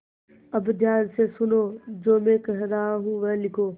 अब ध्यान से सुनो जो मैं कह रहा हूँ वह लिखो